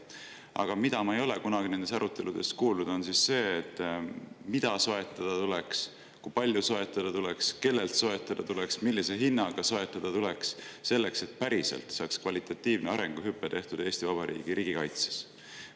Aga ma ei ole nendes aruteludes kunagi kuulnud, mida soetada tuleks, kui palju soetada tuleks, kellelt soetada tuleks, millise hinnaga soetada tuleks, et päriselt saaks tehtud kvalitatiivne arenguhüpe Eesti Vabariigi riigikaitses.